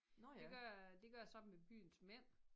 Det gør jeg det gør jeg sammen med byens mænd